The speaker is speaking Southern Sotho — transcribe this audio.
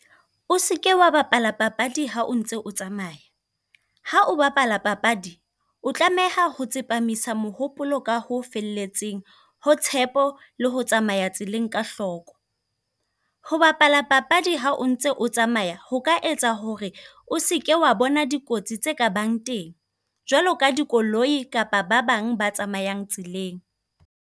O seke wa bapala papadi ha o ntse o tsamaya. Ha o bapala papadi, o tlameha ho tsepamisa mohopolo ka ho felletseng, ho tshepo, le ho tsamaya tseleng ka hloko. Ho bapala papadi ha o ntse o tsamaya ho ka etsa hore o seke wa bona dikotsi tse ka bang teng, jwalo ka dikoloi kapa ba bang ba tsamayang tseleng.